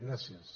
gràcies